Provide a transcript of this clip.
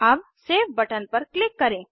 अब save button पर click करें